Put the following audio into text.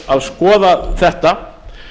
að skoða þetta